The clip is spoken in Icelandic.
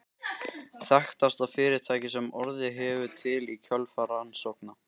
Þekktasta fyrirtækið sem orðið hefur til í kjölfar rannsókna